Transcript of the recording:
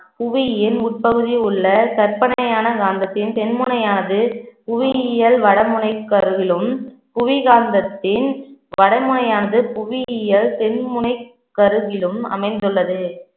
புவியின் உட்பகுதியில் உள்ள கற்பனையான காந்தத்தின் தென் முனையானது புவியியல் வடமுனைக்கு அருகிலும் புவி காந்தத்தின் வடமுனையானது புவியியல் தென் முனைக்கருகிலும் அமைந்துள்ளது